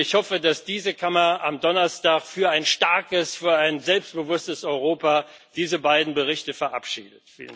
Ich hoffe, dass diese Kammer am Donnerstag für ein starkes, für ein selbstbewusstes Europa diese beiden Berichte verabschiedet.